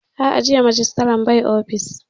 A'a, jiya Majistare bai ofis